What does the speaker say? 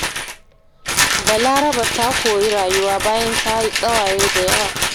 Balaraba ta koyi rayuwa bayan ta yi ƙawaye da yawa.